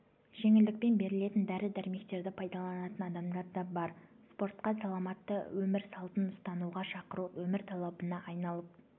жеңілдікпен берілетін дәрі-дәрмектерді пайдаланатын адамдар да бар спортқа саламатты өмір салтын ұстануға шақыру өмір талабына айналып